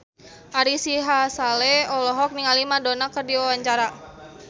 Ari Sihasale olohok ningali Madonna keur diwawancara